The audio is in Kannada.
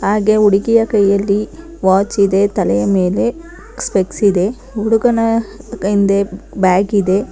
ಹಾಗೆ ಹುಡುಗಿಯ ಕೈಯಲ್ಲಿ ವಾಚ್ ಇದೆ ತಲೆಯ ಮೇಲೆ ಸ್ಪೆಕ್ಸ್ ಇದೆ ಹುಡುಗನ ಹಿಂದೆ ಬ್ಯಾಗ್ ಇದೆ.